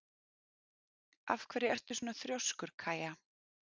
Af hverju ertu svona þrjóskur, Kaja?